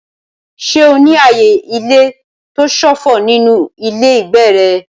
Ṣé o ní ààyè ilé tó ṣófo nínú ilé ìgbé rẹ?